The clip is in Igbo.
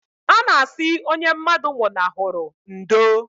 A na asị onye mmadụ nwụnahụrụ ndo